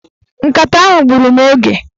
Nkata ahụ gburu mụ oge.